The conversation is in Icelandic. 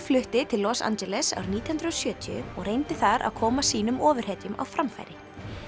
flutti til Los Angeles árið nítján hundruð og sjötíu og reyndi þar að koma sínum ofurhetjum á framfæri